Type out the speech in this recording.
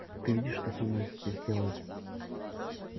ты видишь что со мной здесь делают